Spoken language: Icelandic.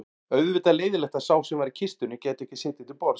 Auðvitað leiðinlegt að sá sem var í kistunni gæti ekki setið til borðs